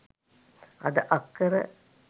අද අක්කර